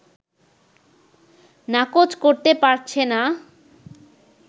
নাকচ করতে পারছে না